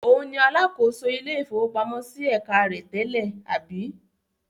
Òun ni alákòóso ilé-ìfowópamọ́sí ẹ̀ka rẹ tẹ́lẹ̀, àbí?